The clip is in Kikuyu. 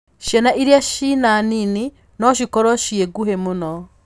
Ciana iria cina nini no cikorwo ciĩ nguhĩ mũno.